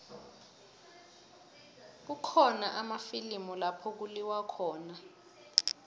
kukhona amafilimu lapho kuliwa khona